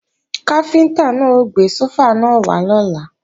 Káfíntá náà ó gbé sófà náà wá lọ́la